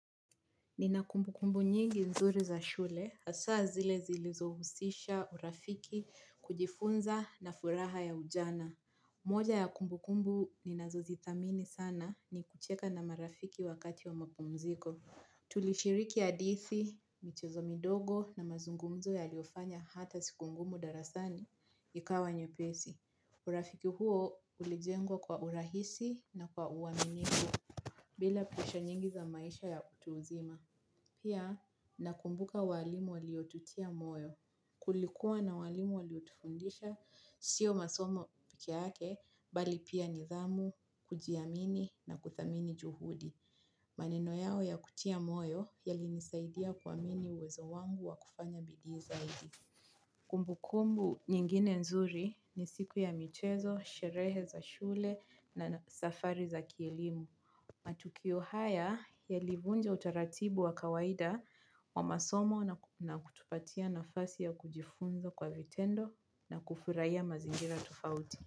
Nina kumbu kumbu nyingi nzuri za shule, asaa zile zilizohusisha urafiki kujifunza na furaha ya ujana. Moja ya kumbu kumbu ninazuzitamini sana ni kucheka na marafiki wakati wa mapumziko. Tulishiriki adithi, michezo midogo na mazungumzo ya liofanya hata siku ngumu darasani, ikawa nye pesi. Urafiki huo ulijengwa kwa urahisi na kwa uwaminiku bila plisha nyingi za maisha ya utu uzima. Pia nakumbuka walimu waliotutia moyo. Kulikuwa na walimu waliotufundisha sio masomo pekiake bali pia nidhamu, kujiamini na kuthamini juhudi. Maneno yao ya kutia moyo yali nisaidia kuamini uwezo wangu wa kufanya bidi zaidi. Kumbu kumbu nyingine nzuri ni siku ya michezo, sherehe za shule na safari za kielimu. Matukio haya ya livunja utaratibu wa kawaida wa masomo na kutupatia nafasi ya kujifunza kwa vitendo na kufuraiya mazingira tofauti.